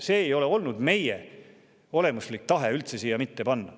Selle siia panemine ei ole üldse olnud meie olemuslik tahe.